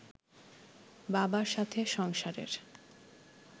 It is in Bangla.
বাবার সাথে সংসারের